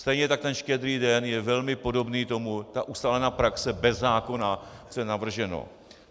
Stejně tak ten Štědrý den je velmi podobný tomu, ta ustálená praxe bez zákona, co je navrženo.